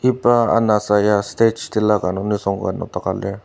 iba anasa ya stage tilaka nung nisung ka nokdaka lir.